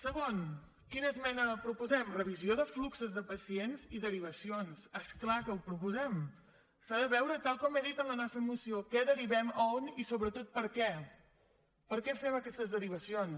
segon quina esmena proposem revisió de fluxos de pacients i derivacions és clar que ho proposem s’ha de veure tal com he dit en la nostra moció què derivem a on i sobretot per què per què fem aquestes derivacions